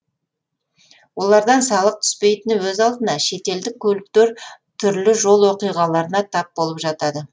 олардан салық түспейтіні өз алдына шетелдік көліктер түрлі жол оқиғаларына тап болып жатады